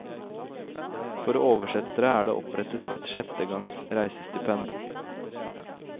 For oversettere er det opprettet et sjettegangs reisestipend.